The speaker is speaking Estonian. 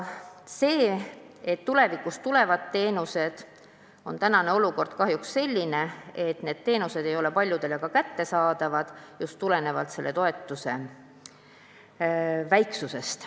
Kuigi tulevikus tulevad teenused, on praegune olukord kahjuks selline, et need teenused ei ole paljudele kättesaadavad just selle toetuse väiksuse tõttu.